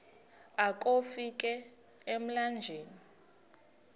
akofi ka emlanjeni